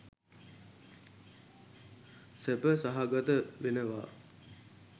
සැප සහගත වෙනවා